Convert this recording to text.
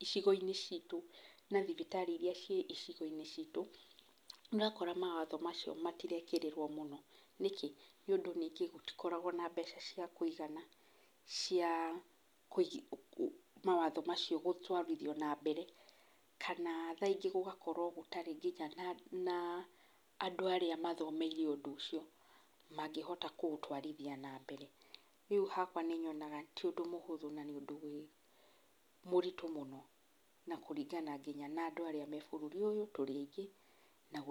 icigo-inĩ citũ na thibitarĩ irĩa ciĩ icigo-inĩ citũ, nĩ ũrakora mawatho macio matirekĩrĩrwo mũno. Nĩkĩ? Nĩ ũndũ ningĩ gũtikoragwo na mbeca cia kũigana, cia mawatho macio gũtwarithio na mbere. Kana thaa ingĩ gũgakorwo gũtarĩ nginya na, andũ arĩa mathomeire ũndũ ũcio mangĩhota kũ ũtwarithia na mbere. Rĩu hakwa nĩ nyonaga ti ũndũ mũhũthũ nĩ ũndũ wĩ mũritũ mũno. Na kũringana nginya na andũ arĩa me bũrũri ũyũ, tũrĩ aingĩ na gũtirĩ.